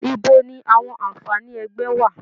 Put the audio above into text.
Ibo ni àwọn àǹfààní ẹgbẹ́ wà?